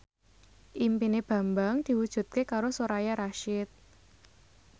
impine Bambang diwujudke karo Soraya Rasyid